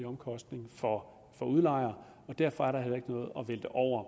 omkostning for udlejer og derfor er der heller ikke noget at vælte over